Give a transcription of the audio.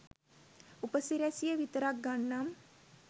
උපසිරැසිය විතරක් ගන්නම්.